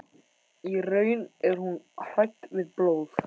Í raun er hún hrædd við blóð.